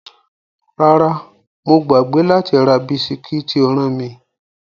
Rárá, mo gbàgbé láti ra bisikí tí o rán mi.